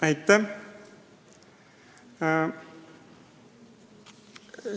Aitäh!